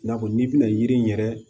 I n'a fɔ n'i bɛna yiri in yɛrɛ